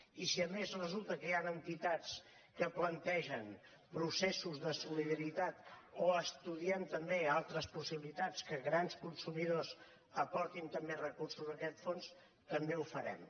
i si a més resulta que hi han entitats que plantegen processos de solidaritat o estudien també altres possibilitats que gran consumidors aportin també recursos a aquest fons també ho farem